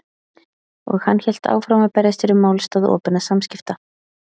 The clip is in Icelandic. Og hann hélt áfram að berjast fyrir málstað opinna samskipta.